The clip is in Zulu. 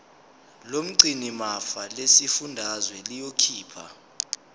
lomgcinimafa lesifundazwe liyokhipha